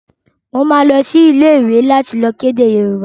Mo máa lọ sí ilé ìwé láti lọ kọ́ èdè Yorùbá